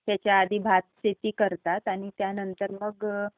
त्याच्याआधी भात शेती करतात आणि त्यानंतर मग